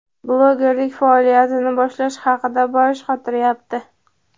blogerlik faoliyatini boshlash haqida bosh qotiryapti.